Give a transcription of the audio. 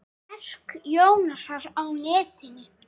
Verk Jónasar á netinu